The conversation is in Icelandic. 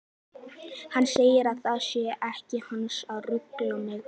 Hann segir að það sé ekki hans að rugla mig.